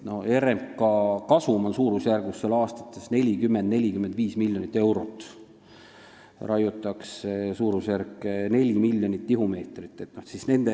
RMK kasum on aastas 40–45 miljonit eurot, raiutakse suurusjärgus 4 miljonit tihumeetrit.